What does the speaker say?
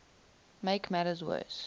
make matters worse